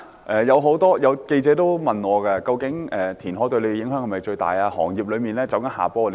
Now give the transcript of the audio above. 有記者問我，究竟填海對我代表的行業界別是否影響最大？